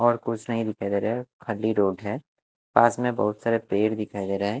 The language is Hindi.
और कुछ नहीं दिखाई दे रहा है खाली रोड है पास में बहुत सारे पेड़ दिखाई दे रहे हैं।